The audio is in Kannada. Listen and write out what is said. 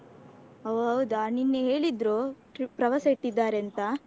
ಒಹ್ ಹೌದಾ ನಿನ್ನೆ ಹೇಳಿದ್ರು trip ಪ್ರವಾಸ ಇಟ್ಟಿದ್ದಾರೆ ಅಂತ.